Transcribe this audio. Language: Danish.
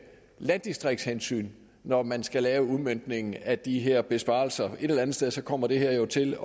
landdistriktshensyn når man skal lave udmøntningen af de her besparelser et eller andet sted sted kommer det her jo til